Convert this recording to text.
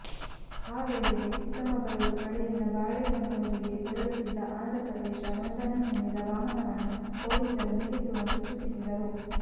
ಆ ವೇಳೆಗೆ ಚಿಕ್ಕಮಗಳೂರು ಕಡೆಯಿಂದ ಬಾಳೆಹೊನ್ನೂರಿಗೆ ತೆರಳುತ್ತಿದ್ದ ಆಂಧ್ರಪ್ರದೇಶ ನೋಂದಣಿ ಹೊಂದಿದ ವಾಹನವನ್ನು ಪೊಲೀಸರು ನಿಲ್ಲಿಸುವಂತೆ ಸೂಚಿಸಿದರು